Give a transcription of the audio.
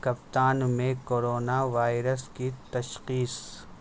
کپتان میں corona virus کی تشخیص